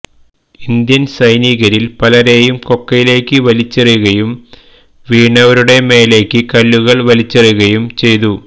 Indian സൈനികരില് പലരേയും കൊക്കയിലേക്ക് വലിച്ചെറിയുകയും വീണവരടേ മേലേക്ക് കല്ലുകള് വലിച്ചെറിയുകയും ചെയ്തു